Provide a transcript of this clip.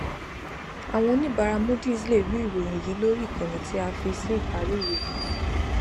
àwọn oníbàárà moodys lè rí ìròyìn yìí lórí ìkànnì tí a fi sí ìparí ìròyìn yìí